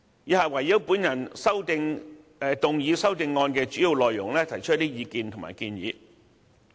以下我會就所提出修正案的主要內容，提出一些意見和建議。